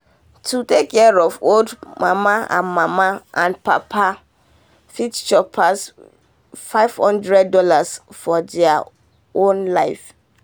to take care um of old mama and mama and papa fit chop pass fifty thousand dollars0 for all their um life.